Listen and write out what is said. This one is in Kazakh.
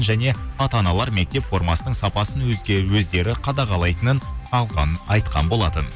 және ата аналар мектеп формасының сапасын өздері қадағалайтынын айтқан болатын